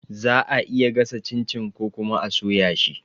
Za'a iya gasa cin-cin ko kuma a soya shi